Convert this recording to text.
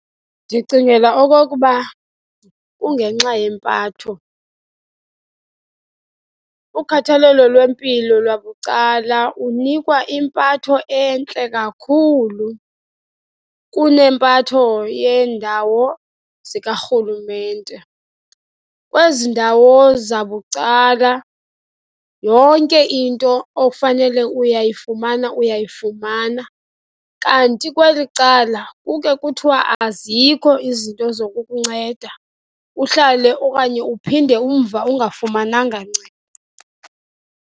Ndicingela okokuba kungenxa yempatho. Kukhathalelo lwempilo lwabucala unikwa impatho entle kakhulu kunempatho yeendawo zikarhulumente. Kwezi ndawo zabucala, yonke into ofanele uyayifumana, uyayifumana. Kanti kweli cala kukhe kuthiwe azikho izinto zokukunceda, uhlale okanye uphinde umva ungafumananga ncedo.